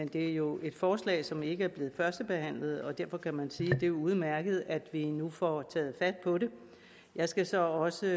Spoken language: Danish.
det er jo et forslag som ikke er blevet førstebehandlet og derfor kan man sige at det er udmærket at vi nu får taget fat på det jeg skal så også